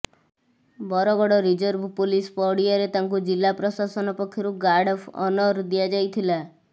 Bargarh reserve police ପଡ଼ିଆରେ ତାଙ୍କୁ ଜିଲ୍ଲା ପ୍ରଶାସନ ପକ୍ଷରୁ ଗାର୍ଡ ଅଫ୍ ଅନର ଦିଆଯାଇଥିଲା